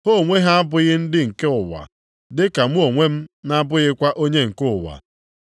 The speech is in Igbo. Ha onwe ha abụghị ndị nke ụwa dị ka mụ onwe m na-abụkwaghị onye nke ụwa.